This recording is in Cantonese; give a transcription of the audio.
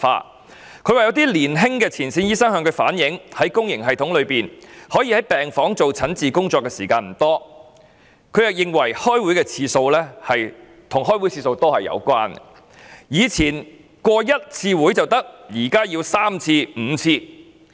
他指出曾有年輕前線醫生向他反映，在公營系統中可在病房執行診治工作的時間不多，他亦認為與開會次數多有關，更表示"以前通過一次會議就可以，現在則要三五次"。